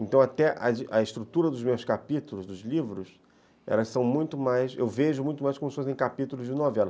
Então, até a a estrutura dos meus capítulos, dos livros, eu vejo muito mais como se fossem capítulos de novela.